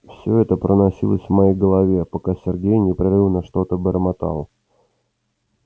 всё это проносилось в моей голове пока сергей непрерывно что-то бормотал